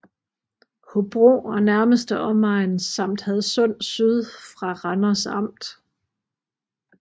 Hobro og nærmeste omegn samt Hadsund Syd fra Randers Amt